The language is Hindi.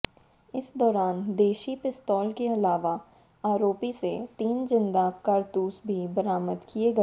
इस दौरान देशी पिस्तौल के अलावा आरोपी से तीन जिंदा कारतूस भी बरामद किए गए